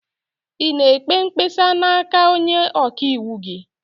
Ị na-ekpe mkpesa n'aka onye ọka iwu gị?